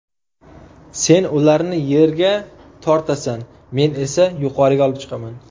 Sen ularni yerga tortasan, men esa yuqoriga olib chiqaman”.